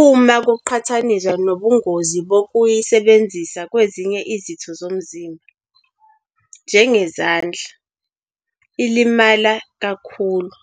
uma kuqhathaniswa nobungozi bokuyisebenzisa kwezinye izitho zomzimba, njengezandla, ilimale kalula.